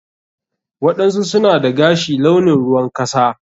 waɗansu suna dagashi launin ruwan kasa.